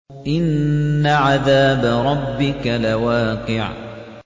إِنَّ عَذَابَ رَبِّكَ لَوَاقِعٌ